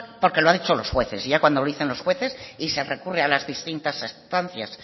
porque lo han dicho los jueces y ya cuando lo dicen los jueces y se recurren a las distintas estancias